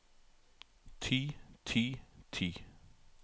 ty ty ty